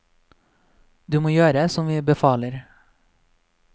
Du må gjøre som vi befaler.